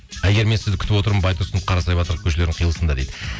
әйгерім мен сізді күтіп отырмын байтұрсынов қарасайбатырдың көшелердің қиылысында дейді